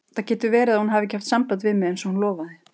Starir fram fyrir sig eins og nátttröll sem hefur dagað uppi.